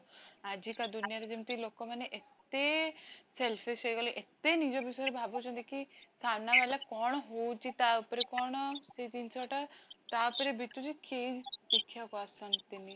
ଆଜିକା ଦୁନିଆରେ ଯେମିତି ଲୋକ ମାନେ ଏତେ selfish ହେଇଗଲେ ଏତେ ନିଜ ବିଷୟରେ ଭାବୁଛନ୍ତି କି ସାମ୍ନା ଵାଲା କଣ ହୋଉଛି ତାଉପରେ କଣ ସେ ଜିନିଷଟା ତା ଉପରେ ବିତୁଛି କିଏ ଦେଖିବାକୁ ଆସନ୍ତିନି